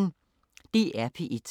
DR P1